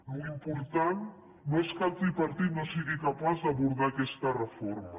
l’important no és que el tripartit no sigui capaç d’abordar aquesta reforma